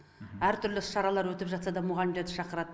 әртүрлі іс шаралар өтіп жатса да мұғалімдерді шақырады